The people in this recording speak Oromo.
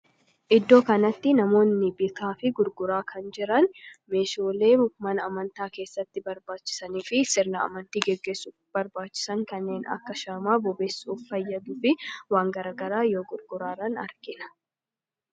Iddoo kanatti namoonni bitaa fi gurguraa kan jiran, Meeshaalee mana amantaa keessatti barbaachisanii fi sirna amantii gaggeessuuf barbaachisan kanneen akka shaamaa bobeessuuf fayyaduu fi waan garaagaraa yoo gurguraa jiran argina.